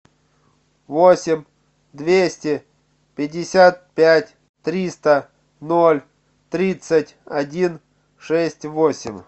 восемь двести пятьдесят пять триста ноль тридцать один шесть восемь